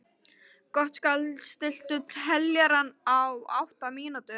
Gottskálk, stilltu niðurteljara á átta mínútur.